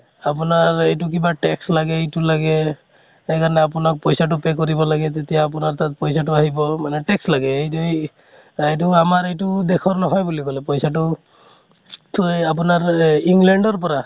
আপোনাৰ এইটো কিবা tax লাগে এইটো লাগে, সেইকাৰণে আপোনাক পইছা তো pay কৰিব লাগে তেতিয়া আপোনাৰ তাত পইছা তো আহিব মানে tax লাগে, এই যে , এইটো আমাৰ এইটো আমাৰ দেশৰ নহয় বুলি কʼলে । পইছা তো থু আপোনাৰ england ৰ পৰা